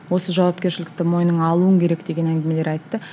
осы жауапкершілікті мойныңа алуың керек деген әңгімелер айтты